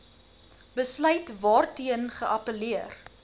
besluit waarteen geappelleer